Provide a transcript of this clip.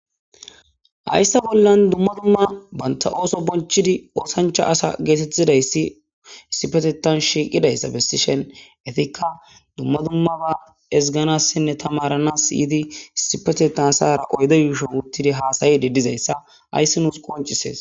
hayssa bollan dumma dumma banta ooso bonchidi oosancha asa geetettidayssi issipetetan shiiqidayssa besishen etikka dumma dumma ba esganassinne tamaranas yiyidi sipetetan asara oydo yuusho wurtidi haasayi di dizayssa hayssi nuus qoncises